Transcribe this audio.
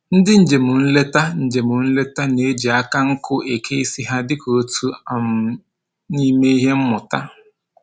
Ndị njem nleta njem nleta na-eji aka nkwụ eke isi ha dịka otu um n'ime ihe mmụta